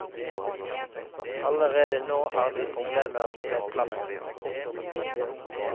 Allerede nå har de problemer med plassen. punktum